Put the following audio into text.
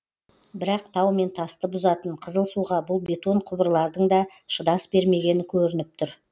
бірақ тау мен тасты бұзатын қызыл суға бұл бетон құбырлардың да шыдас бермегені көрініп тұр